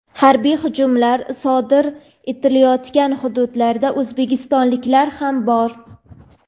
harbiy hujumlar sodir etilayotgan hududlarda o‘zbekistonliklar ham bor.